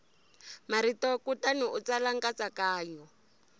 marito kutani u tsala nkatsakanyo